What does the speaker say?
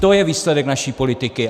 To je výsledek naší politiky!